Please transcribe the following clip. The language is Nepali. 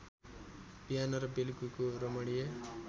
बिहान र बेलुकीको रमणीय